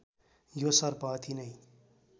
यो सर्प अति नै